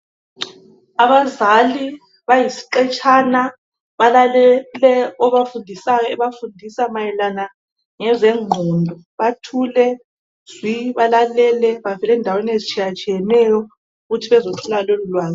Abazali bayisiqetshana balalele obafundisayo ebafundisa mayelana ngezengqondo. Bathule zwi balalele bavela endaweni ezitshiyatshiyeneyo ukuthi bezofuna lolulwazi.